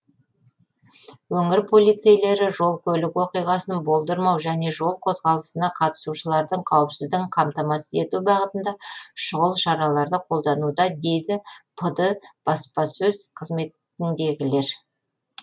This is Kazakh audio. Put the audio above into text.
өңір полицейлері жол көлік оқиғасын болдырмау және жол қозғалысына қатысушылардың қауіпсіздігін қамтамасыз ету бағытында шұғыл шараларды қолдануда дейді пд баспасөз қызметіндегілер